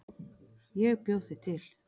Ég bjó þig til.